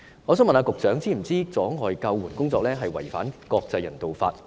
我想問局長是否知道阻礙救援工作違反國際人道法？